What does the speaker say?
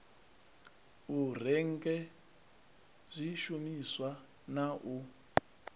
u renge zwishumisa na u